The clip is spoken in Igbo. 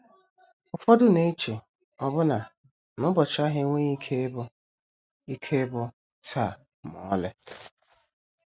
Ụfọdụ na - eche ọbụna na ụbọchị ahụ enweghị ike ịbụ “ ike ịbụ “ taa ” ma ọlị.